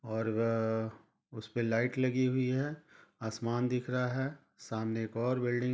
और वः-- उसपे लाइट लगी हुई है आसमान दिख रहा है सामने एक और बिल्डिंग--